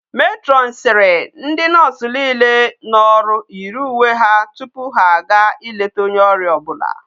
Matron siri na ndi nurse niile no oru yiri uwe ha tupu ha a ga ileta onye oria obula